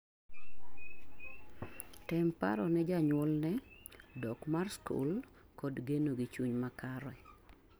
tem paro ne janyuol ne dok mar skul kod geno gi chuny makare